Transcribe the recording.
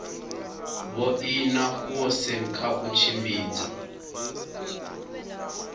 vhoina goosen kha u tshimbidza